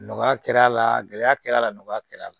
Nɔgɔya kɛra a la gɛlɛya kɛr'a la nɔgɔya kɛra a la